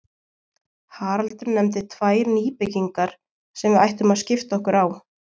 Haraldur nefndi tvær nýbyggingar sem við ættum að skipta okkur á.